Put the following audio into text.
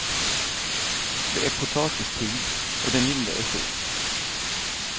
Det är potatistid och den lille är sjuk.